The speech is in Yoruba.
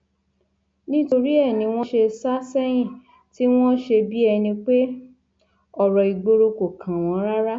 nítorí ẹ ní wọn ṣe sá sẹyìn tí wọn ṣe bíi ẹni pé ọrọ ìgboro kò kàn wọn rárá